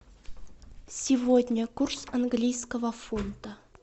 сегодня курс английского фунта